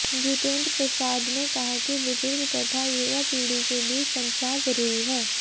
जितेंद्र प्रसाद ने कहा कि बुजुर्ग तथा युवा पीढ़ी के बीच संचाद जरूरी है